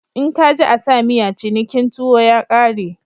In ka ji a sa miya cinikin tuwo ya kare.